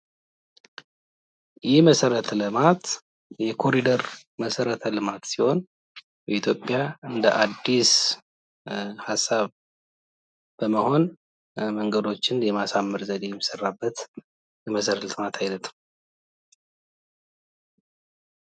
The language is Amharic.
ይህ መሰረተ ልማት የኮሪደር መሰረተ ልማት ሲሆን ኢትዮጵያ እንደ አዲስ ሀሳብ በመሆን መንገዶችን የማሳመር ዘዴ የሚሰራበት የመሰረተ ልማት አይነት ነው።